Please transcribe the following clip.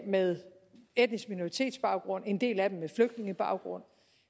med etnisk minoritetsbaggrund en del af dem med flygtningebaggrund